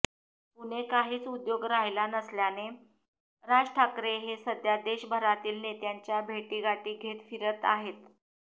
पुणे काहीच उद्योग राहिला नसल्याने राज ठाकरे हे सध्या देशभरातील नेत्यांच्या भेटीगाठी घेत फिरत आहेत